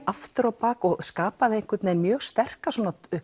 aftur á bak og skapaði einhvern vegin mjög sterka